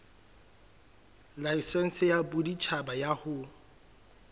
laesense ya boditjhaba ya ho